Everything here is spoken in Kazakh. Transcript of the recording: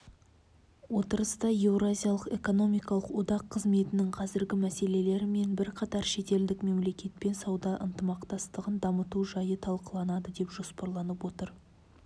отырыста еуразиялық экономикалық одақ қызметінің қазіргі мәселелері мен бірқатар шетелдік мемлекетпен сауда ынтымақтастығын дамыту жайы талқыланады деп жоспарланып отыр